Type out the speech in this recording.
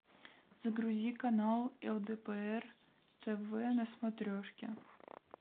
загрузи канал лдпр тв на смотрешке